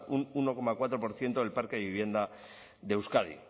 un uno coma cuatro por ciento del parque de vivienda de euskadi